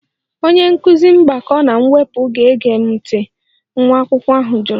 Onye nkụzi mgbakọ na mwepụ aga-ege m ntị? nwa akwụkwọ ahụ jụrụ